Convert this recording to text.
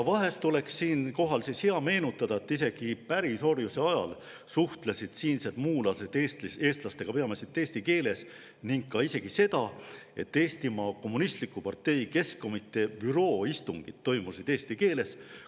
Vahest oleks siinkohal hea meenutada, et isegi pärisorjuse ajal suhtlesid siinsed muulased Eestis eestlastega peamiselt eesti keeles, ning ka seda, et isegi Eestimaa Kommunistliku Partei Keskkomitee büroo istungid toimusid eesti keeles.